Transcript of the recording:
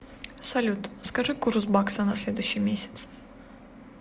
салют скажи курс бакса на следующий месяц